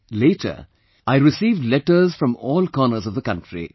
But, later, I received letters from all corners of the country